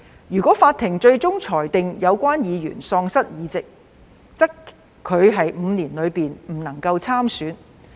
如法庭最終裁定有關議員喪失議席，則他在5年內不得參選。